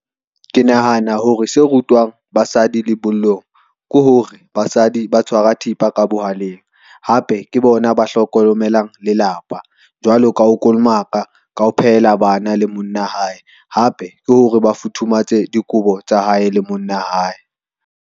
Ke nahana hore se rutwang basadi lebollong, ke hore basadi ba tshwara thipa ka bohaleng hape ke bona ba hlokomelang lelapa, jwalo ka ho kolomaka ka ho phela bana le monna hae, hape ke hore ba futhumatse dikobo tsa hae le monna hae.